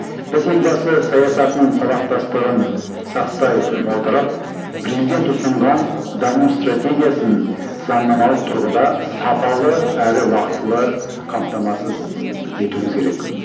біз елбасы саясатының сабақтастығын сақтай отырып президент ұсынған даму стратегиясын заңнамалық тұрғыда сапалы әрі уақытылы қамтамасыз етуіміз керек